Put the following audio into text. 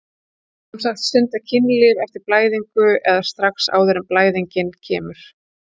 Sem sagt stunda kynlíf eftir blæðingu eða strax áður en blæðingin kemur?